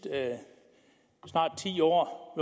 snart ti år